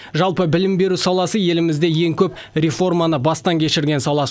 жалпы білім беру саласы елімізде ең көп реформаны бастан кешірген сала